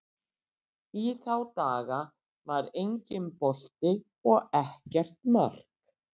Í þá daga var enginn bolti og ekkert mark.